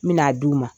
N bi n'a d'u ma